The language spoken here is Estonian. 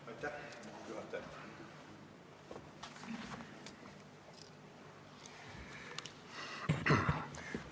Lugupeetud juhataja!